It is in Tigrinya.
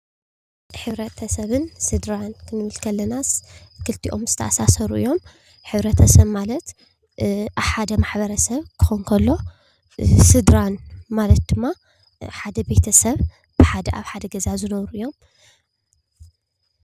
ሕብረተሰብን ስድራን ክንብል ከለናስ ክልቲኦም ዝተኣሳሰሩ እዮም። ሕብረተሰብ ማለት ኣብ ሓደ ማሕበረ ሰብ ክኾን ከሎ ስድራ ማለት ድማ ሓደ ቤተሰብ ኣብ ሓደ ገዛ ዝነብሩ እዮም ።